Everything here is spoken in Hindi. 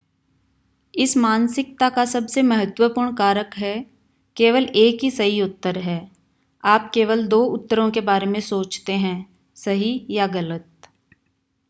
इस मानसिकता का सबसे महत्वपूर्ण कारक है केवल एक ही सही उत्तर है आप केवल दो उत्तरों के बारे में सोचते हैं सही या गलत